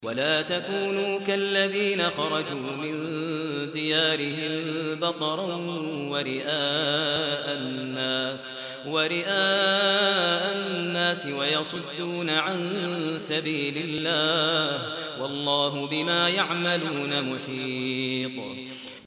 وَلَا تَكُونُوا كَالَّذِينَ خَرَجُوا مِن دِيَارِهِم بَطَرًا وَرِئَاءَ النَّاسِ وَيَصُدُّونَ عَن سَبِيلِ اللَّهِ ۚ وَاللَّهُ بِمَا يَعْمَلُونَ مُحِيطٌ